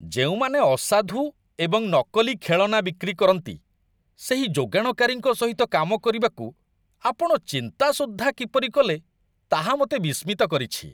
ଯେଉଁମାନେ ଅସାଧୁ, ଏବଂ ନକଲି ଖେଳନା ବିକ୍ରି କରନ୍ତି, ସେହି ଯୋଗାଣକାରୀଙ୍କ ସହିତ କାମ କରିବାକୁ ଆପଣ ଚିନ୍ତା ସୁଦ୍ଧା କିପରି କଲେ, ତାହା ମୋତେ ବିସ୍ମିତ କରିଛି।